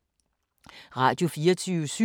Radio24syv